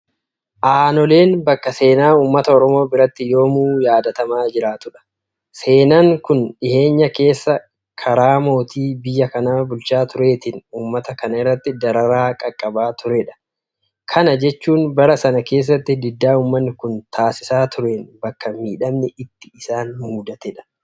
Aanoleen bakka seenaa uummata Oromoo biratti yoomuu yaadatamaa jiraatudha. Seenaan kun dhiyeenya keessa karaa mootii biyya kana bulchaa tureetiin uummata kana irratti dararaa qaqqabaa turedha. Kana jechuun bara sana keessa diddaa uummanni kun taasisaa tureen bakka miidhamni itti isaan mudatedha.